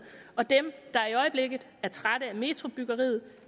og dem der i øjeblikket er trætte af metrobyggeriet